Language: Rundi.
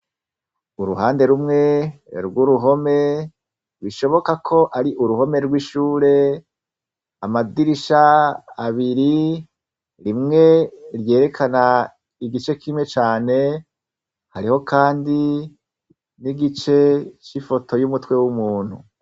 Uruhande rumwe rwuruhome bishoboka ko ari uruhome rw'ishure amadirisha abiri rimwe ryerekana igice kimwe cane hariho kandi nigice cifoto y'umutwe w 'umuntu.